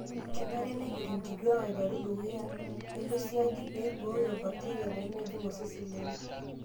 Kenare nejut nkituak aiteru dukuya elo siadi pee eibooyo bakteria peemejing osesen lenye.